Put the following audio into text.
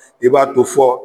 I b'a to fɔ